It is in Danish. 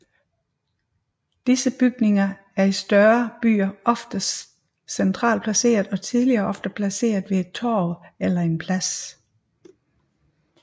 Disse bygninger er i større byer oftest centralt placeret og tidligere ofte placeret ved et torv eller en plads